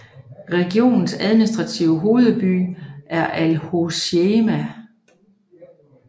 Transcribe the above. Regionens administrative hovedby er Al Hoceïma